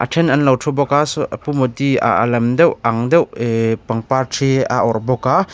a then an lo thu bawk a saw a pu Modi a a lam deuh ang deuh eh pangpar thi a awrh bawk a.